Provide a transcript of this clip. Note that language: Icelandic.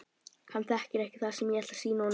Hann þekkir ekki það sem ég ætla að sýna honum.